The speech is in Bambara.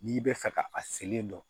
N'i bɛ fɛ ka a selen dɔn